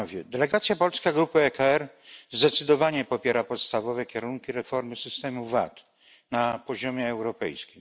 Delegacja polska grupy ECR zdecydowanie popiera podstawowe kierunki reformy systemu VAT na poziomie europejskim.